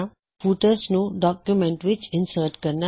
footers ਨੂੰ document ਵਿੱਚ insert ਕਰਨਾ